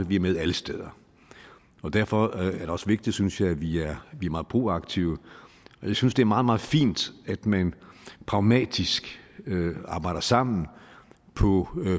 vi er med alle steder og derfor er det også vigtigt synes jeg at vi er meget proaktive jeg synes det er meget meget fint at man pragmatisk arbejder sammen på